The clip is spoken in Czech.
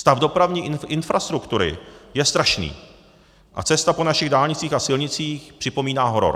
Stav dopravní infrastruktury je strašný a cesta po našich dálnicích a silnicích připomíná horor.